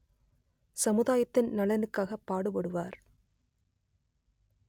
சமுதாயத்தின் நலனுக்காக பாடுபடுவார்